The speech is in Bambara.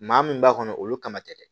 Maa min b'a kɔnɔ olu kama dɛ